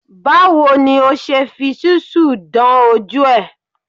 Báwo ni o ṣe fi ṣúsù dán ojú ẹ̀?